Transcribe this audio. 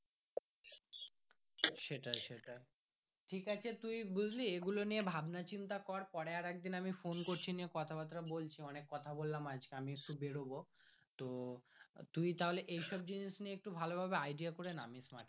সেটাই সেটাই ঠিক আছে তুই বুজলি এগুলো নিয়ে ভাবনা চিন্তা কর পরে আমি একদিন Phon করছি নিয়ে কথা বাত্রা বলছি অনেক কথা বললাম আজকে এই একটু বের হবো তো তুই তাহলে এই সব জিনিস নিতে ভালো ভাবে idea করে নামিস মাঠে।